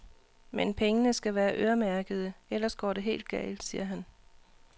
Men pengene skal være øremærkede, ellers går det helt galt, siger han.